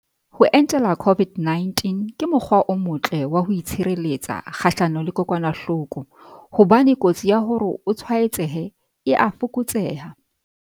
Ho entela COVID-19 ke mo kgwa o motle wa ho itshire letsa kgahlano le kokwana hloko, hobane kotsi ya hore o tswaetsehe e a fokotseha.